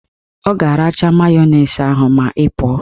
Ọ ga-aracha mayonezi ahụ ma ị pụọ